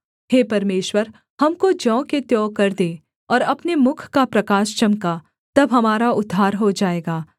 हे परमेश्वर हमको ज्यों के त्यों कर दे और अपने मुख का प्रकाश चमका तब हमारा उद्धार हो जाएगा